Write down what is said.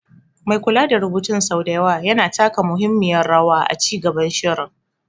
Mai kula da rubutun sau da yawa yana taka muhimmiyar rawa a ci gaban shirin.